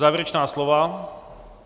Závěrečná slova?